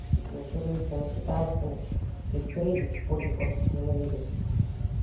с вот этими корейцами китайцами их в корее до сих пор японцев ненавидят